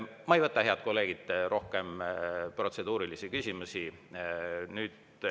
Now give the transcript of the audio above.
Ma ei võta, head kolleegid, rohkem protseduurilisi küsimusi.